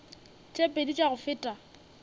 tše pedi tša go feta